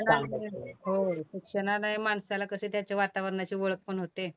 हो तर त्यांना माणसाला कशी त्याच्या वातावरणाची ओळख पण होते.